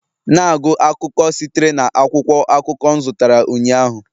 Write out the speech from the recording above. Na-agụ akụkọ sitere na akwụkwọ akụkọ m zụtara ụnyaahụ